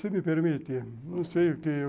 Se me permite, não sei o quê